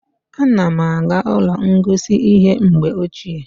A na m aga ụlọ ngosi ihe mgbe ochie